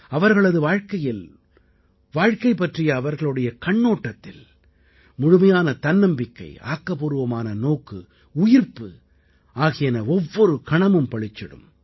அவர்களது வாழ்க்கையில் வாழ்க்கை பற்றிய அவர்களுடைய கண்ணோட்டத்தில் முழுமையான தன்னம்பிக்கை ஆக்கப்பூர்வமான நோக்கு உயிர்ப்பு ஆகியன ஒவ்வொரு கணமும் பளிச்சிடும்